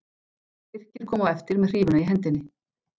Birkir kom á eftir með hrífuna í hendinni.